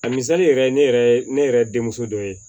A misali yɛrɛ ne yɛrɛ ye ne yɛrɛ denmuso dɔ ye